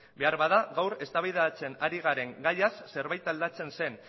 beharbada gaur eztabaidatzen ari garen gaiaz zerbait aldatzen zen